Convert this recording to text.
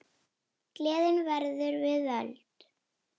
Gleðin verður við völd.